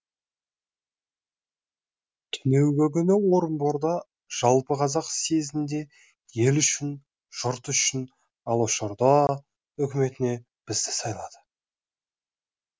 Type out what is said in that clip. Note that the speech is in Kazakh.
түнеугі күні орынборда жалпы қазақ съезінде ел үшін жұрт үшін алашорда үкіметіне бізді сайлады